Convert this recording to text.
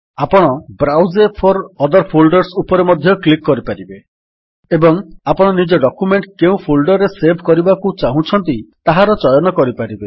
ଆପଣ browse for other folders ଉପରେ ମଧ୍ୟ କ୍ଲିକ୍ କରିପାରିବେ ଏବଂ ଆପଣ ନିଜ ଡକ୍ୟୁମେଣ୍ଟ୍ କେଉଁ ଫୋଲ୍ଡର୍ ରେ ସେଭ୍ କରିବାକୁ ଚାହୁଁଛନ୍ତି ଚାହାର ଚୟନ କରିପାରିବେ